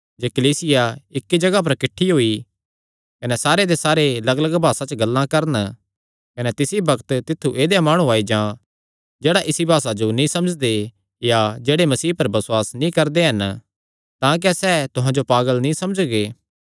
जे कलीसिया इक्की जगाह पर किठ्ठी होई कने सारे दे सारे लग्गलग्ग भासा च गल्लां करन कने तिसी बग्त तित्थु ऐदेय माणु आई जान जेह्ड़े इसा भासा जो नीं समझदे या जेह्ड़े मसीह पर बसुआस नीं करदे हन तां क्या सैह़ तुहां जो पागल नीं समझगे